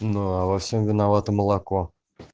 ну а во всем виновато молоко